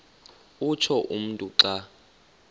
utsho umntu xa